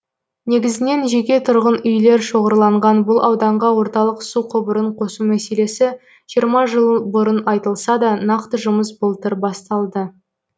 негізінен жеке тұрғын үйлер шоғырланған бұл ауданға орталық су құбырын қосу мәселесі жиырма жыл бұрын айтылса да нақты жұмыс былтыр басталды